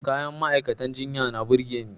Kayan ma'aikatan jinya na burge ni.